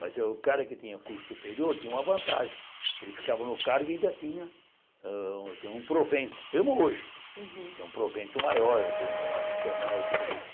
Mas o cara que tinha curso superior tinha uma vantagem, ele ficava no cargo e ainda tinha ah um provento, mesmo hoje, tem um provento maior, tem um adicional e tudo